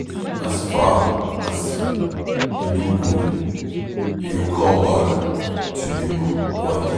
As far as say, you do good, e go come back to you one day.